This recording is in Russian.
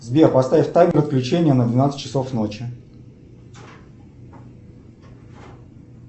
сбер поставь таймер отключения на двенадцать часов ночи